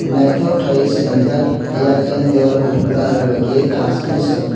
naitok keilai o selamjak eyang eyang dewal kopor colour bai keioe tash ke no selamtak.